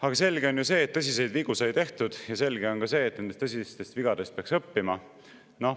Aga selge on ju see, et tõsiseid vigu tehti, ja selge on ka see, et nendest tõsistest vigadest peaks õppima.